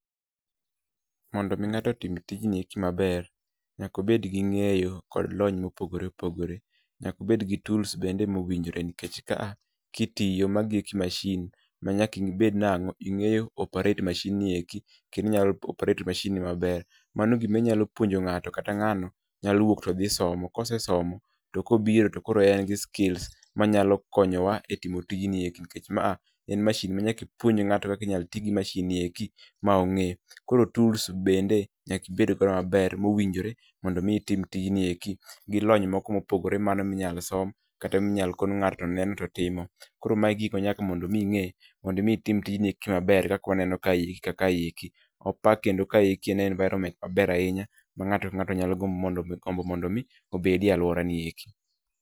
Mondo mi ng'ato otim tijni eki maber, nyaka obed gi ng'eyo kod lony mopogore opogore. Nyaka obed gi tools bende ma owinjore nikech ka a kitiyo magi eki machine ma nyaka ibed nang'o ing'eyo operate machine ni eki kendo inyalo operate machine ni maber. Mano gima inyalo puonjo ng'ato kata ng'ano nyalo wuok to dhi somo, kosesomo to kobiro to koro en gi skills manyalo konyowa e timo tijni eki nikech ma a en machine ma nyaka ipuonj ng'ato kaka inyalo tiyo gi machine no eki ma ong'e. Koro tools bende nyaka ibed go maber mowinjore mondo mi itim tijni eki gi lony moko mopogore mano minyalo som kata minyalo kon ng'ato to neno to timo. Koro ma e gik ma nyaka mondo mi ing'e mondo mi itim tijni eki maber kaka waneno kae ka kaeki, poa kendo kaeki en environment maber ahinya ma ng'ato ka ng'ato nyalo gimbo mondo mi obed e alwora ni eki.